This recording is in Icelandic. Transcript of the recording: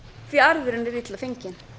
því arðurinn er illa fenginn